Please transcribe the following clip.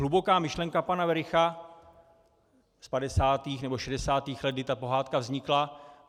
Hluboká myšlenka pana Wericha z 50. nebo 60. let, kdy ta pohádka vznikla.